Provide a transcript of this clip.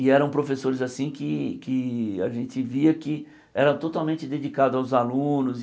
E eram professores assim que que a gente via que eram totalmente dedicados aos alunos.